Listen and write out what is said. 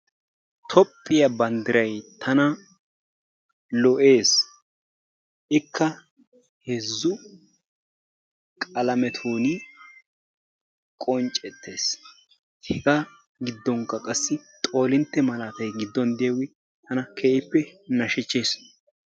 Tophphyaa bandiray tana lo'ees, ikka heezu qalametunni qoncettes hegaa gidooninkka qassi xoolintte malaattay giduwan de'iyogge tana keehippe nashchisses.